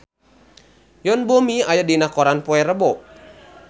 Yoon Bomi aya dina koran poe Rebo